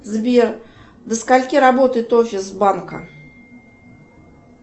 сбер до скольки работает офис банка